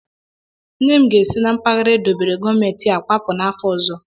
Nne m ga esi na mpaghara edobere gọọmentị a kwapụ n'afọ ọzọ.